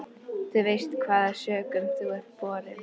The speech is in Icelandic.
Þú veist hvaða sökum þú ert borinn.